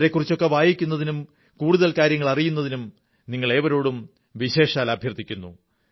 അവരെക്കുറിച്ചൊക്കെ വായിക്കുന്നതിനും കൂടുതൽ കാര്യങ്ങൾ അറിയുന്നതിനും നിങ്ങളേവരോടും വിശേഷാൽ അഭ്യർഥിക്കുന്നു